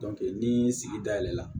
ni sigi da yɛlɛ la